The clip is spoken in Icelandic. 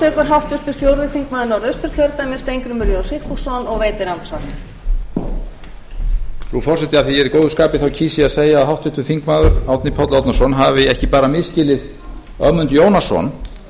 frú forseti af því að ég er góðu skapi kýs ég að segja að háttvirtur þingmaður árni páll árnason hafi ekki bara misskilið ögmund jónasson